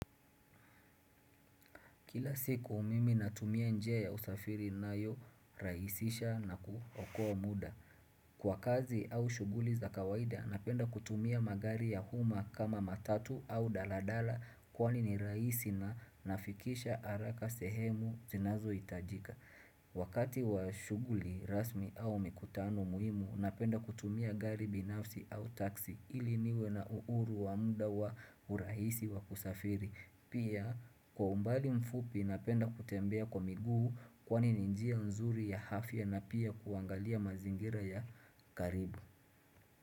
Kila siku mimi natumia njia ya usafiri, inayorahisisha na kuokua muda. Kwa kazi au shughuli za kawaida, napenda kutumia magari ya umma kama matatu au daladala kwani ni rahisi na nafikishwa haraka sehemu zinazohitajika. Wakati wa shughuli rasmi au mikutano muhimu, napenda kutumia gari binafsi au taksi ili niwe na uhuru wa muda wa urahisi wa kusafiri. Pia kwa umbali mfupi napenda kutembea kwa miguu kwani ni njia nzuri ya afya na pia kuangalia mazingira ya karibu.